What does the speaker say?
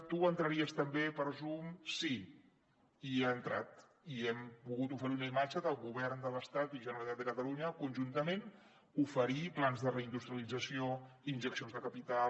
tu entraria també per zoom sí i hi ha entrat i hem pogut oferir una imatge del govern de l’estat i generalitat de catalunya conjuntament oferir plans de reindustrialització injeccions de capital